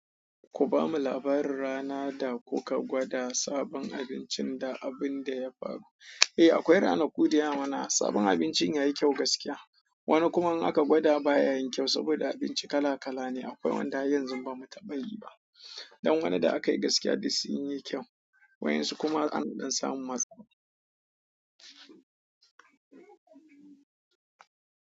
Ku ba mu labarin rana da kuka gwada sabon abincin da abun da ya faru. Eh akwai ranaku da yawa mana, sabon abincin yayi kyau gaskiya. Wani kuma in aka gwada baya yin kyau, saboda abinci kala-kala ne, akwai wanda har yanzu bamu taɓa yi ba. Dan wani da akayi gaskiya duk sunyi kyau. Wa'insu kuma an ɗan samu matsala.